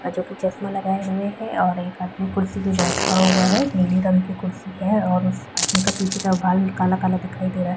आ जो की चश्मा लगाए हुए है और एक आदमी कुर्सी पे बैठा हुआ है नीली रंग के कुर्सी है और उस आदमी का पीछे का बाल काला-काला दिखाई दे रहा है।